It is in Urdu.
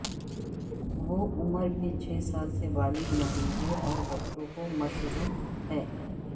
وہ عمر کے چھ سال سے بالغ مریضوں اور بچوں کو مشروع ہیں